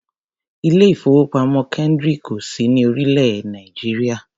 Ilé-ìfowópamọ́ Kendric ò sí ní orílẹ̀-èè Nàìjíríà.